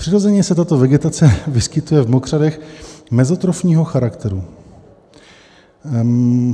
Přirozeně se tato vegetace vyskytuje v mokřadech mezotrofního charakteru.